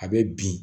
A bɛ bin